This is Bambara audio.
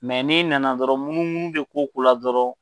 n'i nana dɔrɔn munu munu bɛ ko o ko la dɔrɔn